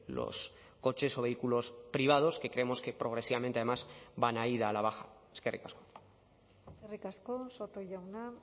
los coches o vehículos privados que creemos que progresivamente además van a ir a la baja eskerrik asko eskerrik asko soto jauna